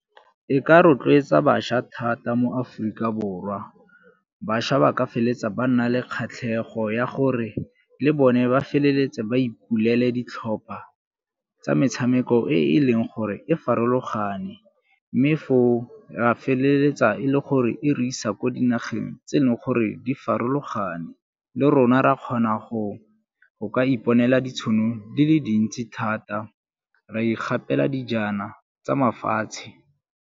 E ka rotloetsa bašwa thata mo Aforika Borwa, bašwa ba ka feleletsa ba nna le kgatlhego ya gore le bone ba feleletse ba ipulele ditlhopha tsa metshameko e e leng gore e farologane mme foo ra feleletsa e le gore e re isa ko dinageng tse e leng gore di farologane. Le rona ra kgona go ka iponela ditšhono di le dintsi thata ra ikgapela dijana tsa mafatshe.